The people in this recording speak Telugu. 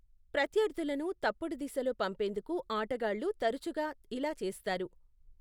ప్రత్యర్థులను తప్పుడు దిశలో పంపేందుకు ఆటగాళ్లు తరచుగా ఇలా చేస్తారు.